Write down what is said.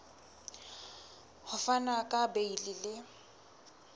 ho fana ka beile le